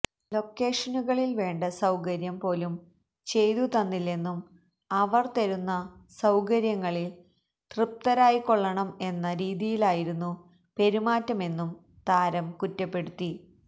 ലൊക്കേഷനുകളിൽ വേണ്ട സൌകര്യം പോലും ചെയ്തു തന്നില്ലെന്നും അവർ തരുന്ന സൌകര്യങ്ങളിൽ തൃപ്തരായിക്കൊള്ളണം എന്ന രീതിയിലായിരുന്നു പെരുമാറ്റമെന്നും താരം കുറ്റപ്പെടുത്തി